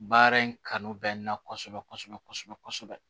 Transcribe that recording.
Baara in kanu bɛ n na kosɛbɛ kosɛbɛ kosɛbɛ